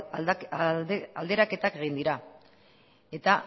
aldaketak egin dira eta